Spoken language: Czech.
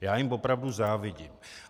Já jim opravdu závidím.